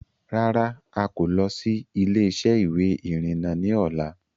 Rárá Áà kò lọ̀ síí ilé-isẹ́ ìwé ìrìnà ni ọ̀la.